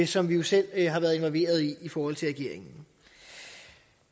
som vi jo selv har været involveret i forhold til regeringen